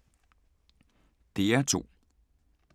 DR2